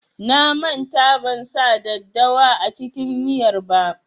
Na manta ban sa daddawa a cikin miyar ba.